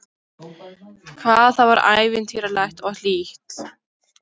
Hvað það var ævintýralegt og hlýtt.